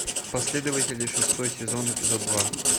последователи шестой сезон эпизод два